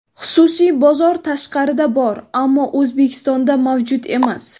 Xususiy bozor tashqarida bor, ammo O‘zbekistonda mavjud emas.